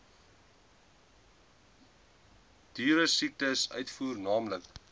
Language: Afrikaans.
dieresiektes uitvoer naamlik